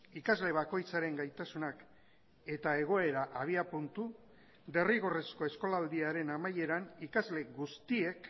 ikasle bakoitzaren gaitasunak eta egoera abiapuntu derrigorrezko eskolaldiaren amaieran ikasle guztiek